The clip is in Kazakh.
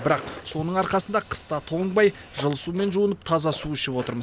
бірақ соның арқасында қыста тоңбай жылы сумен жуынып таза су ішіп отырмыз